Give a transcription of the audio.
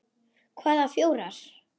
Hvaða fjórar?